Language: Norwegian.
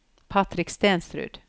Patrick Stensrud